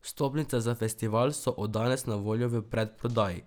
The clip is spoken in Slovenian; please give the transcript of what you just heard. Vstopnice za festival so od danes na voljo v predprodaji.